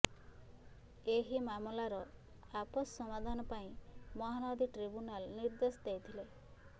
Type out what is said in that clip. ଏହି ମାମଲାର ଆପୋଷ ସମାଧାନ ପାଇଁ ମହାନଦୀ ଟ୍ରିବ୍ୟୁନାଲ ନିର୍ଦ୍ଦେଶ ଦେଇଥିଲେ